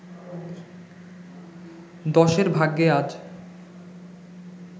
দশের ভাগ্যে আজ